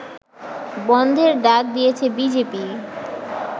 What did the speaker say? বনধের ডাক দিয়েছে বিজেপি